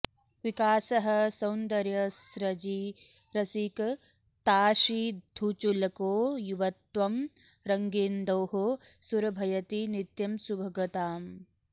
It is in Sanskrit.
विकासः सौन्दर्यस्रजि रसिकताशीधुचुलको युवत्वं रङ्गेन्दोः सुरभयति नित्यं सुभगताम्